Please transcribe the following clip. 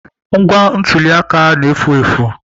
Ngwa ntuli aka na-efu.